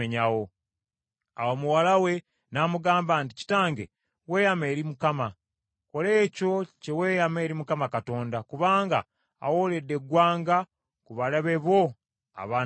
Awo muwala we n’amugamba nti, “Kitange weeyama eri Mukama . Kola ekyo kye weeyama eri Mukama Katonda, kubanga awooledde eggwanga ku balabe bo, abaana ba Amoni.”